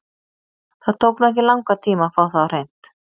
Það tók nú ekki langan tíma að fá það á hreint.